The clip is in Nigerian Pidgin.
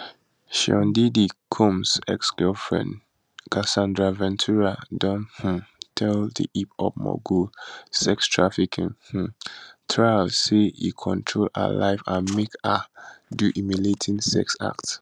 sean diddy combs exgirlfriend casandra ventura don um tell di hiphop mogul sextrafficking um trial say e control her life and make her do humiliating sex acts